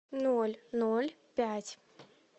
ноль ноль пять